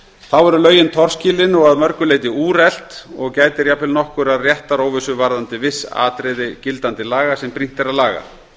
þá eru lögin torskilin og að mörgu leyti úrelt og gætir jafnvel nokkurrar réttaróvissu varðandi viss atriði gildandi laga sem brýnt er að laga